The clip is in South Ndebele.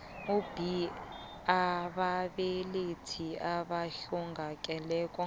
b ababelethi abahlongakele